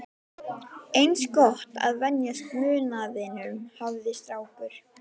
Eins gott að venjast munaðinum, hafði strákur